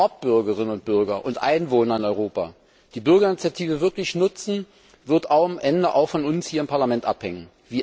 Ob Bürgerinnen und Bürger und Einwohner in Europa die Bürgerinitiative wirklich nutzen, wird am Ende auch von uns hier im Parlament abhängen.